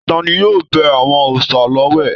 Tani yóò bẹ àwọn òòsà l'ọwẹ̀?